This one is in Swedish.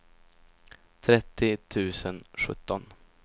trettio tusen sjutton